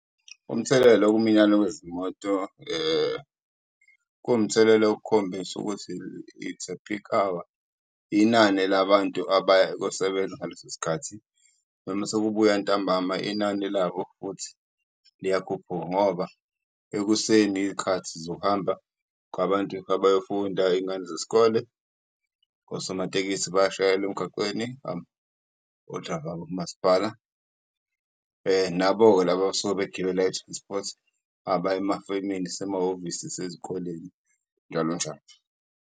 Umthelela wokuminyana wezimoto kuwumthelela wokukhombisa ukuthi, it's a peak hour, inani labantu abaya ukuyosebenza ngaleso sikhathi, noma sekubuya ntambama inani labo futhi liyakhuphuka. Ngoba ekuseni iyikhathi zokuhamba kwabantu abayofunda izingane zesikole, osomatekisi bayashayela emgaqweni , o-driver bamaspala. Nabo-ke laba abasuke begibela i-transport abaya emafemini, isemahhovisi, isezikoleni, njalo njalo.